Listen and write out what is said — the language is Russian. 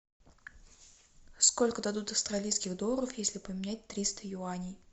сколько дадут австралийских долларов если поменять триста юаней